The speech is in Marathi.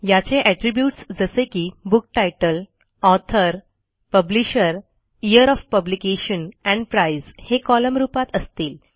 याचे एट्रिब्यूट्स जसे की book title author publisher year of publication and price हे कॉलम रूपात असतील